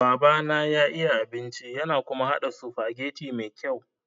Babana ya iya abinci yana kuma haɗa sufageti me kyau.